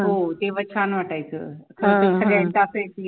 हो तेव्हा छान वाटायचं होती सगळ्या चाफ्याची